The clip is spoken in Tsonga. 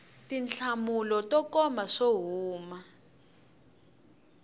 tinhlamulo to koma swo huma